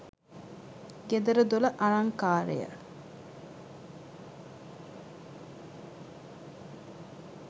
ගෙදර දොර අලංකාරය